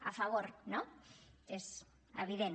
a favor no és evident